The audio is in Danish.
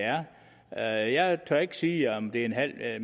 er jeg tør ikke sige om det er en halv